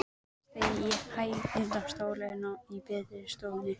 Hann seig ofan í hægindastólinn í betri stofunni.